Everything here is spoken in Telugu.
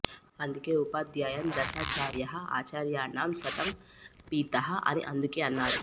అందుకే ఉపాధ్యాయాన్ దశాచార్యః ఆచార్యాణాం శతం పితః అని అందుకే అన్నారు